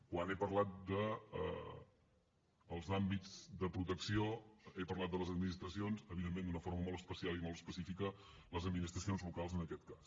quan he parlat dels àmbits de protecció he parlat de les administracions evidentment d’una forma molt especial i molt específica les administracions locals en aquest cas